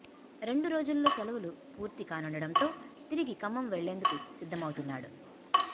రెండు రోజులలో సెలవులు పూర్తి కానుండటంతో తిరిగి ఖమ్మం వెళ్లేందుకు సిద్ధమవుతున్నాడు